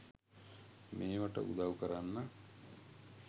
මේවට උදව් කරන්න